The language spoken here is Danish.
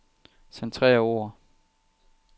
Centrer ord.